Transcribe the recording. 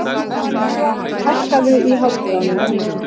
Svali, hækkaðu í hátalaranum.